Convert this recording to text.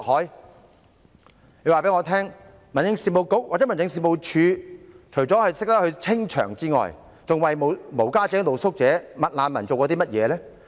誰可以告訴我，民政事務局或民政事務總署除了懂得清場外，還為無家者、露宿者、"麥難民"做過甚麼？